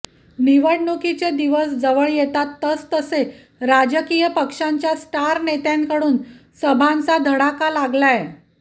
निवडणुकीचे दिवस जवळ येतात तसतसे राजकीय पक्षांच्या स्टार नेत्यांकडून सभांचा धडका लागलाय